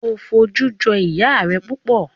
O foju joi iya rẹ pupọ